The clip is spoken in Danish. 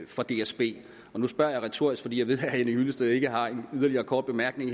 for dsb nu spørger jeg retorisk for jeg ved at herre henning hyllested ikke har en yderligere kort bemærkning